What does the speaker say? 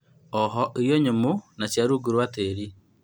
Ooho irio nyũmu, na cia rungu rwa tĩĩri